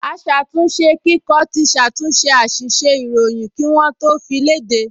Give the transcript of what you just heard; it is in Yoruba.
Aṣàtúnṣekíkọ ti ṣàtúnṣe àṣìṣe ìròyìn kí wọ́n tó fi léde